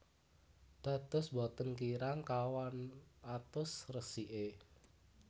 Dados boten kirang kawan atus resiké